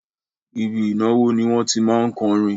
Ibi ìnáwó ni wọ́n tí má ń kọrin